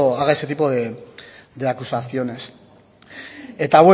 haga ese tipo de acusaciones eta